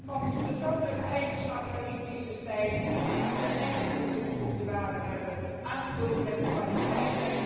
Want de vrouwelijke eigenschappen in crisistijd kunnen echt een toegevoegde waarde hebben, aangevuld met de kwaliteit.